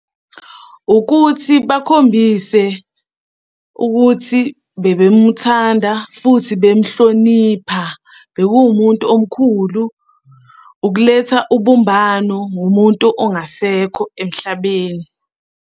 Ukuthi bakhombise ukuthi bebemuthanda futhi bemuhlonipha, bekuwumuntu omkhulu. Ukuletha ubumbano ngomuntu ongasekho emhlabeni.